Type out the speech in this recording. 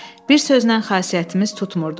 Bir sözlə xasiyyətimiz tutmurdu.